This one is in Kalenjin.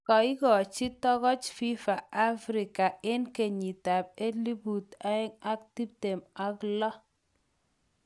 kaigachi togoch FIFA Africa�eng kenyyit ab elput aeng ak tiptem ak loo